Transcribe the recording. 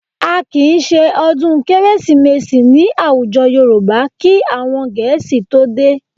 A kì í ṣe ọdún Kérésìmesì ní àwùjọ Yorùbá kí àwọn Gẹ̀ẹ́sì tó dé